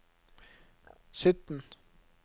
sytten